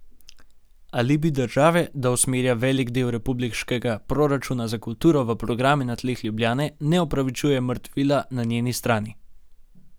Alibi države, da usmerja velik del republiškega proračuna za kulturo v programe na tleh Ljubljane, ne opravičuje mrtvila na njeni strani.